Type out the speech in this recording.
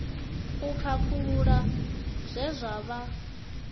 u khakhulula zwe zwa vha